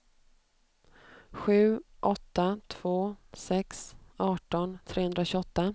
sju åtta två sex arton trehundratjugoåtta